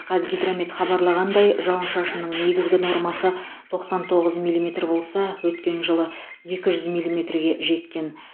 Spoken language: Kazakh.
қазгидромет хабарлағандай жауын шашынның негізгі нормасы тоқсан тоғыз миллиметр болса өткен жылы екі жүз миллиметрге жеткен